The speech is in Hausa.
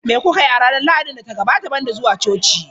Me kuka yi a ranar Lahadin da ta gabata banda zuwa coci?.